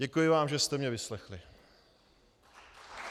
Děkuji vám, že jste mě vyslechli.